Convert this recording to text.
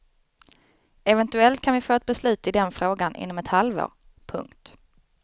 Eventuellt kan vi få ett beslut i den frågan inom ett halvår. punkt